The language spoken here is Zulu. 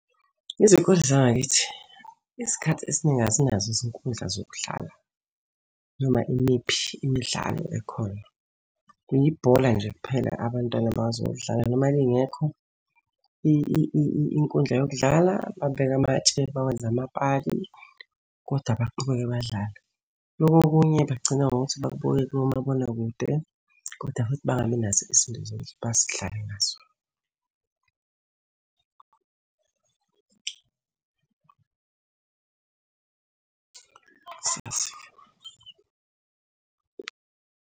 Izikole zangakithi, isikhathi esiningi azinazo izinkundla zokudlala noma imiphi imidlalo ekhona. Kuyibhola nje kuphela abantwana abakwazi ukulidlala noma lingekho inkundla yokudlala, babeke amatshe bawenze amapali, kodwa baqhubeke badlale. Loko okunye bagcina ngokuthi bakubuke komabonakude koda futhi bangabi nazo izinto zokuthi badlale ngazo.